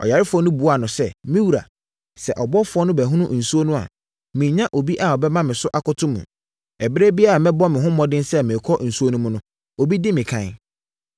Ɔyarefoɔ no buaa no sɛ, “Me wura, sɛ ɔbɔfoɔ no bɛhono nsuo no a, mennya obi a ɔbɛma me so ato mu. Ɛberɛ biara a mɛbɔ me ho mmɔden sɛ merekɔ nsuo no mu no, obi di me ɛkan.”